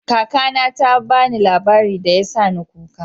Kaka na ta ba ni labari da ya sa ni kuka.